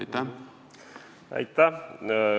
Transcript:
Aitäh!